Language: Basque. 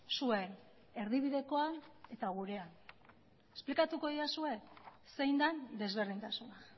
zuen erdibidekoan eta gurean esplikatuko didazue zein den desberdintasuna